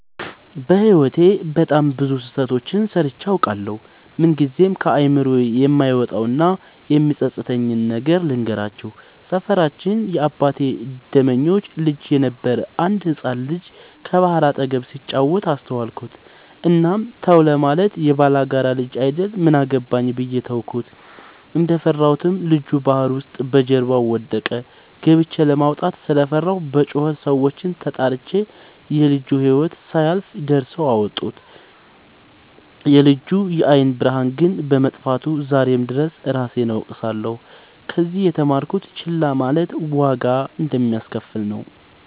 በህይወቴ በጣም ብዙ ስህተቶችን ሰርቸ አውቃለሁ። ምንግዜም ከአይምሮዬ የማይወጣው እና የሚፀፅተኝን ነገር ልንገራችሁ። ሰፈራችን የአባቴ ደመኞች ልጅ የነበረ አንድ ህፃን ልጅ ከባህር አጠገብ ሲጫወት አስተዋልኩት። እናም ተው ለማለት የባላጋራ ልጅ አይደል ምን አገባኝ ብዬ ተውኩት። እንደፈራሁትም ልጁ ባህር ውስጥ በጀርባው ወደቀ። ገብቸ ለማውጣት ስለፈራሁ በጩኸት ሰዎችን ተጣርቸ የልጁ ህይወት ሳያልፍ ደርሰው አወጡት። የልጁ የአይን ብርሃን ግን በመጥፋቱ ዛሬም ድረስ እራሴን እወቅሳለሁ። ከዚህ የተማርኩት ችላ ማለት ዋጋ እንደሚያሰከፍል ነው።